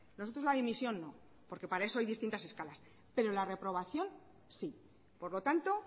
nosotros la dimisión no porque para eso hay distintas escalas pero la reprobación sí por lo tanto